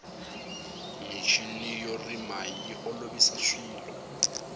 michini yo rima yi olovisa swilo